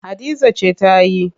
Hadiza ce ta yi.